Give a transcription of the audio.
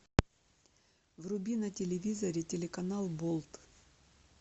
вруби на телевизоре телеканал болт